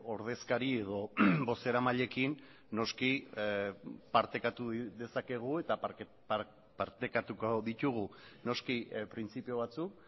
ordezkari edo bozeramailekin noski partekatu dezakegu eta partekatuko ditugu noski printzipio batzuk